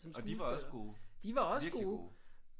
Og de var også gode. Virkelig gode